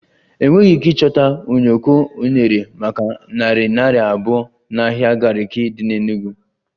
Enweghị ike ịchọta ụyọkọ unere maka narị naira abụọ n'ahịa Gariki dị n'Enugwu